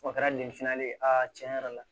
O kɛra de fana ye a tiɲɛ yɛrɛ la